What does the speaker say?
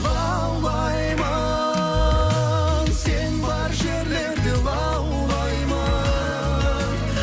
лаулаймын сен бар жерлерде лаулаймын